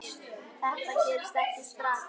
Þetta gerist ekki strax.